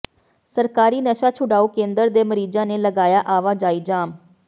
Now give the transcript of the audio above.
ਸਰਕਾਰੀ ਨਸ਼ਾ ਛੁਡਾਊ ਕੇਂਦਰ ਦੇ ਮਰੀਜ਼ਾਂ ਨੇ ਲਗਾਇਆ ਆਵਾਜਾਈ ਜਾਮ